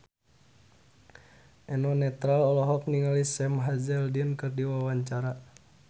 Eno Netral olohok ningali Sam Hazeldine keur diwawancara